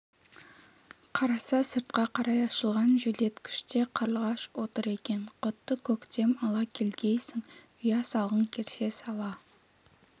қараса сыртқа қарай ашылған желдеткіште қарлығаш отыр екен құтты көктем ала келгейсің ұя салғың келсе сала